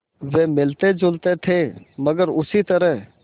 वे मिलतेजुलते थे मगर उसी तरह